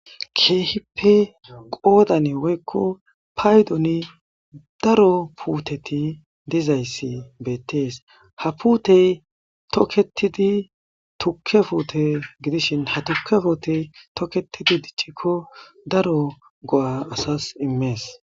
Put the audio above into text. Keehippe qoodan woykko paydoni daro puuteti dizayssi beettees ha puutey toketidi tukke fuute gidishin ha tuke foote toketidi diccikko daro go7a asas immees.